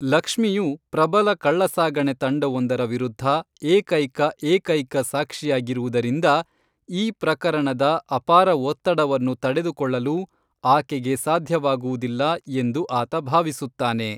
ಲಕ್ಮ್ಷಿಯು ಪ್ರಬಲ ಕಳ್ಳಸಾಗಣೆ ತಂಡವೊಂದರ ವಿರುದ್ಧ ಏಕೈಕ ಏಕೈಕ ಸಾಕ್ಷಿಯಾಗಿರುವುದರಿಂದ ಈ ಪ್ರಕರಣದ ಅಪಾರ ಒತ್ತಡವನ್ನು ತಡೆದುಕೊಳ್ಳಲು ಆಕೆಗೆ ಸಾಧ್ಯವಾಗುವುದಿಲ್ಲ ಎಂದು ಆತ ಭಾವಿಸುತ್ತಾನೆ.